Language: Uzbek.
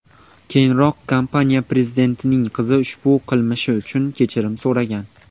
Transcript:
Keyinroq kompaniya prezidentining qizi ushbu qilmishi uchun kechirim so‘ragan.